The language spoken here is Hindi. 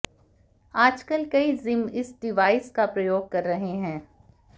आजकल कई जिम इस डिवाइस का प्रयोग कर रहे हैं